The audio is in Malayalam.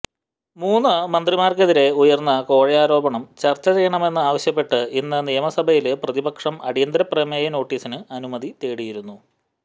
മൂന്ന് മന്ത്രിമാര്ക്കെതിരെ ഉയര്ന്ന കോഴയാരോപണം ചര്ച്ച ചെയ്യണമെന്ന് ആവശ്യപ്പെട്ട് ഇന്ന് നിയമസഭയില് പ്രതിപക്ഷം അടിയന്തര പ്രമേയ നോട്ടീസിന് അനുമതി തേടിയിരുന്നു